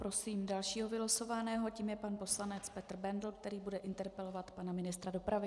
Prosím dalšího vylosovaného, tím je pan poslanec Petr Bendl, který bude interpelovat pana ministra dopravy.